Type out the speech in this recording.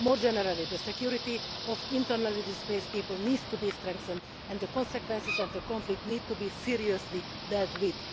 More generally, the security of internally displaced people needs to be strengthened, and the consequences of the conflict need to be seriously dealt with.